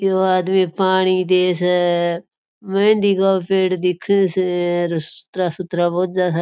यो आदमी पानी दे स मेहँदी का पेड़ दिखे स सुथरा सुथरा बोझा सा --